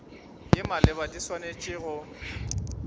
ye maleba di swanetše go